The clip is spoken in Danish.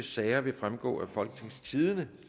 sager vil fremgå af folketingstidende